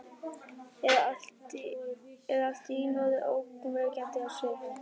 Er allt í einu orðin ógnvekjandi á svip.